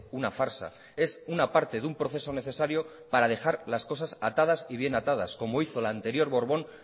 una farsa es una parte de un proceso necesario para dejar las cosas atadas y bien atadas como hizo el anterior borbón